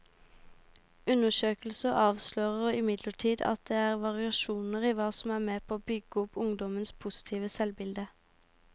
Undersøkelsen avslører imidlertid at det er variasjoner i hva som er med på å bygge opp ungdommenes positive selvbilde.